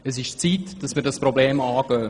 Es ist Zeit, dass wir dieses Problem anpacken.